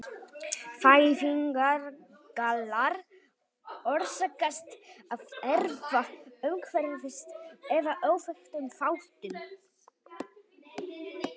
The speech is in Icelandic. Fæðingargallar orsakast af erfða-, umhverfis- eða óþekktum þáttum.